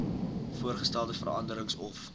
voorgestelde veranderings of